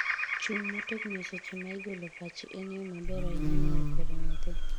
chung' motegno eseche ma igolo pachi en yo maber ahinya mar kwero nyathi